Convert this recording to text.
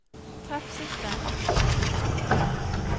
treffsikre